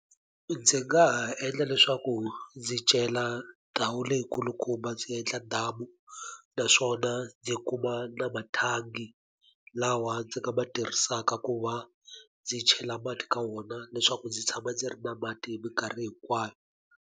Ndzi nga ha endla leswaku ndzi cela ndhawu leyikulukumba ndzi endla damu naswona ndzi kuma na mathangi lawa ndzi nga ma tirhisaka ku va ndzi chela mati ka wona leswaku ndzi tshama ndzi ri na mati hi minkarhi hinkwayo.